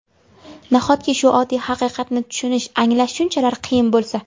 Nahotki, shu oddiy haqiqatni tushunish, anglash shunchalar qiyin bo‘lsa?